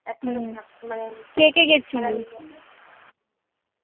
হম কে কে গেসিলি